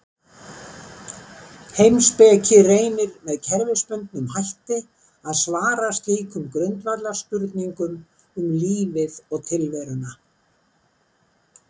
Heimspeki reynir með kerfisbundnum hætti að svara slíkum grundvallarspurningum um lífið og tilveruna.